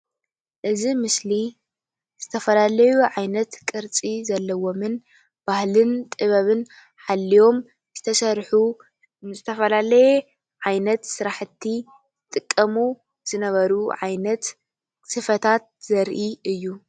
እዚ ምስሊ ዝተፈላለዩ ዓይነት ቅርፂ ዘለዎምን ባህልን ጥበብን ሓልዮም ዝተስርሑ ንዝተፈላለየ ዓይነት ስርሐቲ ዝጥቀሙ ዝነበሩ ዓይነት ስፈታት ዘርኢ እዩ፡፡